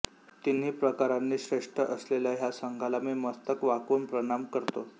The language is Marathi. तिन्ही प्रकारानी श्रेष्ठ असलेल्या ह्या संघाला मी मस्तक वाकवून प्रणाम करतो